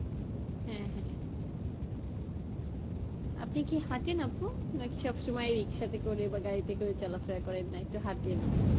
হ্যাঁ হ্যাঁ আপনি কি হাটেন আপু? না কি সব সময় সব সময় রিকশাতে করে বা গাড়িতে করে চলাফেরা করেন? না হাঁটেন ও?